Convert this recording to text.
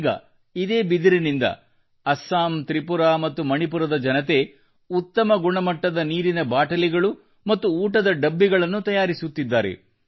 ಈಗ ಇದೇ ಬಿದಿರಿನಿಂದ ಅಸ್ಸಾಂ ತ್ರಿಪುರಾ ಮತ್ತು ಮಣಿಪುರದ ಜನತೆ ಉತ್ತಮ ಗುಣಮಟ್ಟದ ನೀರಿನ ಬಾಟಲಿಗಳು ಮತ್ತು ಊಟದ ಡಬ್ಬಿಗಳನ್ನು ತಯಾರಿಸುತ್ತಿದ್ದಾರೆ